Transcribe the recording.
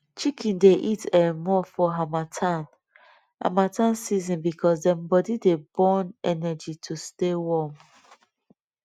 chicken dey eat um more for harmattan harmattan season because dem body dey burn energy to stay warm